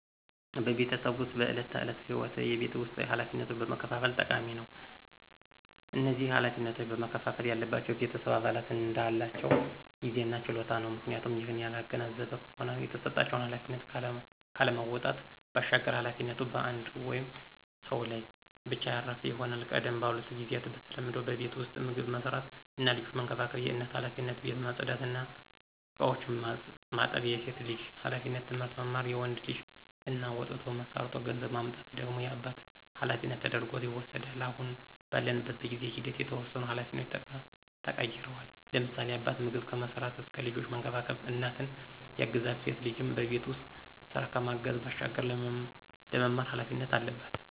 በቤተሰብ ዉስጥ በዕለት ተዕለት ህይወት የቤት ውስጥ ኃላፊነቶችን መከፋፈል ጠቃሚ ነው። እነዚህ ኃላፊነቶች መከፍፈል ያለባቸው የቤተሰብ አባላት እንዳላቸው ጊዜ እና ችሎታ ነው፤ ምክንያቱም ይህንን ያላገናዘበ ከሆነ የተሰጣቸውን ኃላፊነት ካለመወጣት ባሻገር ኃላፊነቱ በአንድ ወይም ሰው ላይ ብቻ ያረፈ ይሆናል። ቀደም ባሉት ጊዚያት በተለምዶ በቤት ዉስጥ ምግብ መስራት እና ልጆችን መንከባከብ የእናት ኃላፊነት፣ ቤት ማፅዳት እና እቃዎችን ማጠብ የሴት ልጅ ኃላፊነት፣ ትምህርት መማር የወንድ ልጅ እና ወጥቶ ሠርቶ ገንዘብ ማምጣት ደግሞ የአባት ኃላፊነት ተደርጐ ይወስዳል። አሁን ባለንበት በጊዜ ሂደት የተወሰኑ ኃላፊነቶች ተቀይረዋል፤ ለምሳሌ፦ አባት ምግብ ከመስራት እስከ ልጆችን መንከባከብ እናትን ያግዛል፣ ሴት ልጅም በቤት ውስጥ ስራ ከማገዝ ባሻገር ለመማር ኃላፊነት አለባት።